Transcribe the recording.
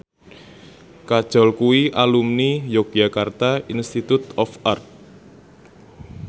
Kajol kuwi alumni Yogyakarta Institute of Art